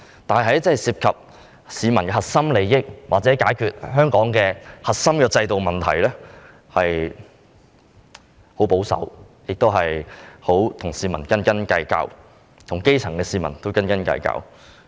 但是，在涉及市民的核心利益或解決香港的核心制度問題時，政府十分保守，及與市民，尤其是基層市民斤斤計較。